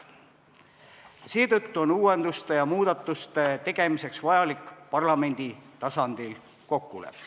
Seetõttu on uuenduste ja muudatuste tegemiseks vaja parlamendi tasandil kokkulepet.